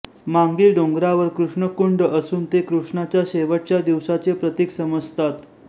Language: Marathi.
मांगी डोंगरावर कृष्णकुंड असून ते कृष्णाच्या शेवटच्या दिवसाचे प्रतीक समजतात